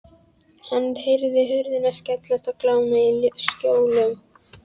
Hann heyrði hurðum skellt og glamur í skjólum.